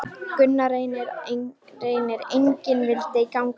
Gunnar Reynir: Engin vildi ganga lengra?